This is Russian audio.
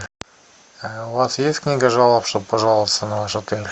у вас есть книга жалоб чтобы пожаловаться на ваш отель